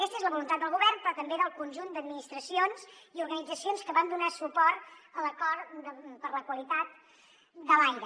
aquesta és la voluntat del govern però també del conjunt d’administracions i organitzacions que vam donar suport a l’acord per la qualitat de l’aire